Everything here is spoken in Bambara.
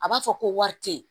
A b'a fɔ ko wari te ye